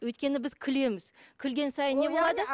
өйткені біз күлеміз күлген сайын не болады